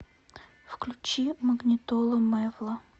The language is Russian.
включи магнитола мэвла